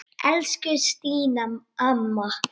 Elsku Stína amma.